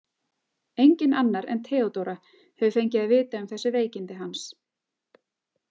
Enginn annar en Theodóra hefur fengið að vita um þessi veikindi hans.